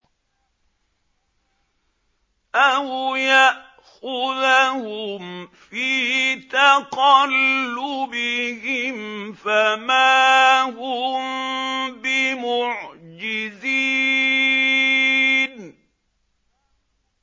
أَوْ يَأْخُذَهُمْ فِي تَقَلُّبِهِمْ فَمَا هُم بِمُعْجِزِينَ